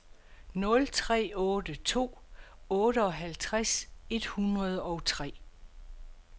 nul tre otte to otteoghalvtreds et hundrede og tre